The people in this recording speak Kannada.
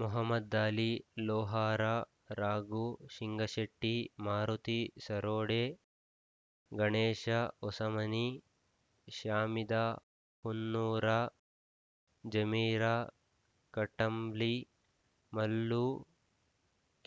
ಮಹಮ್ಮದಲಿ ಲೋಹಾರ ರಾಘು ಸಿಂಗಶೆಟ್ಟಿ ಮಾರುತಿ ಸರೋಡೆ ಗಣೇಶ ಹೊಸಮನಿ ಶ್ಯಾಮಿದ ಹುನ್ನೂರ ಜಮೀರ ಕಟಂಬ್ಲಿ ಮಲ್ಲು